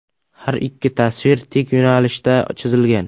Har ikki tasvir tik yo‘nalishda chizilgan.